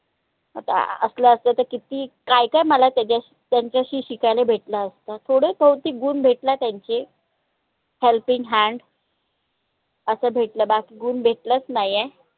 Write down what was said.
आता असला असता तर किती काय काय मला त्याच्याशी त्यांच्याशी शिकाले भेटलं असत. थोडे थोडतीक गुन भेटला त्यांचे helping hand असं भेटलं बाकी गुन भेटलंच नाईया